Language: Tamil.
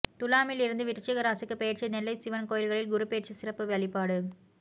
துலாமில் இருந்து விருச்சிக ராசிக்கு பெயர்ச்சி நெல்லை சிவன் கோயில்களில் குருபெயர்ச்சி சிறப்பு வழிபாடு